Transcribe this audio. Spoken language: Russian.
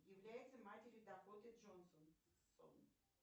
является матерью дакоты джонсон